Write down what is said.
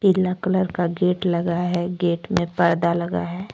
पीला कलर का गेट लगा है गेट में पर्दा लगा है।